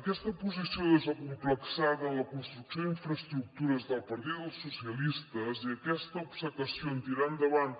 aquesta posició desacomplexada en la construcció d’infraestructures del partit dels socialistes i aquesta obcecació en tirar endavant